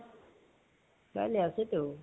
কাইলে আছেতো।